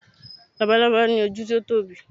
labalábá ni oju ti o Tobi